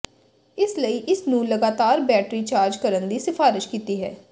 ਇਸ ਲਈ ਇਸ ਨੂੰ ਲਗਾਤਾਰ ਬੈਟਰੀ ਚਾਰਜ ਕਰਨ ਦੀ ਸਿਫਾਰਸ਼ ਕੀਤੀ ਹੈ